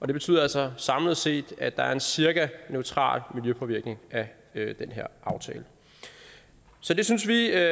det betyder altså samlet set at der er en cirka neutral miljøpåvirkning af den her aftale så det synes vi er